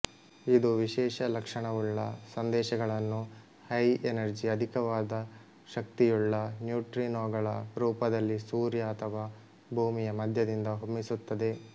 ಇದು ವಿಶೇಷ ಲಕ್ಷಣವುಳ್ಳ ಸಂದೇಶಗಳನ್ನು ಹೈಎನರ್ಜಿಆಧಿಕವಾದ ಶಕ್ತಿಯುಳ್ಳನ್ಯೂಟ್ರಿನೊಗಳ ರೂಪದಲ್ಲಿ ಸೂರ್ಯ ಅಥವಾ ಭೂಮಿಯ ಮಧ್ಯದಿಂದ ಹೊಮ್ಮಿಸುತ್ತದೆ